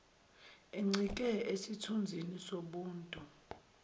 encike esithunzini sobuntu